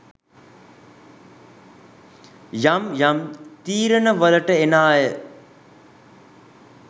යම් යම් තීරණවලට එන අය.